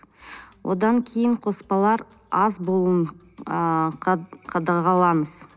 одан кейін қоспалар аз болуын ы қадағалаңыз